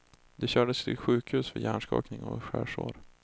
De kördes till sjukhus för hjärnskakning och skärsår.